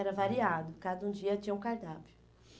Era variado, cada um dia tinha um cardápio